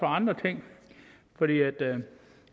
andre ting